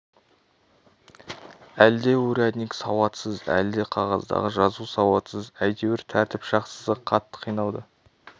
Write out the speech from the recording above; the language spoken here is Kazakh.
әлде урядник сауатсыз әлде қағаздағы жазу сауатсыз әйтеуір тәртіп сақшысы қатты қиналды